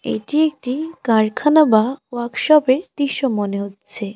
এটি একটি কারখানা বা ওয়ার্কশপ -এর দৃশ্য মনে হচ্ছে।